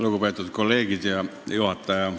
Lugupeetud juhataja ja kolleegid!